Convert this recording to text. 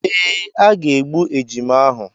Ee, a ga-egbu ejima ahụ.